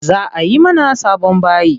Za ayi mana sabon bayi.